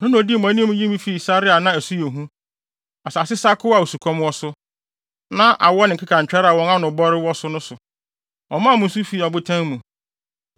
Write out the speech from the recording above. Ɔno na odii mo anim yii mo fii sare a na ɛso yɛ hu, asase sakoo a osukɔm wɔ so, na awɔ ne nkekantwɛre a wɔn ano wɔ bɔre wɔ so no so. Ɔmaa mo nsu fi ɔbotan mu.